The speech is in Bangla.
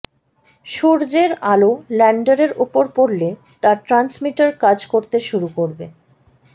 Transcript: সূর্যের আলো ল্যান্ডারের উপর পড়লে তার ট্রান্সমিটার কাজ করতে শুরু করবে